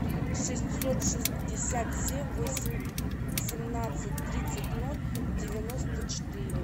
шестьсот шестьдесят семь семнадцать тридцать ноль девяносто четыре